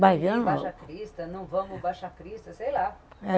Baixacrista, não vamos, Baixacrista, sei lá.